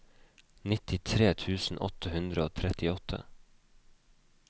nittitre tusen åtte hundre og trettiåtte